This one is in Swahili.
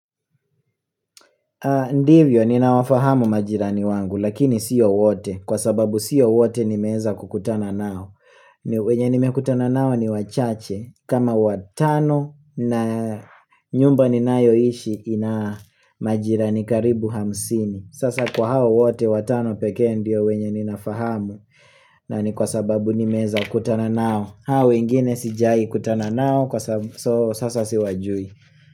Ndivyo ninawafahamu majirani wangu lakini siyo wote kwa sababu siyo wote nimeweza kukutana nao wenye nimekutana nao ni wachache kama watano na nyumba ninayo ishi ina majirani karibu hamsini. Sasa kwa hao wote watano pekee ndio wenye ninafahamu na ni kwa sababu nimeweza kutana nao. Hao wengine sijai kutana nao kwa sababu so sasa siwajui.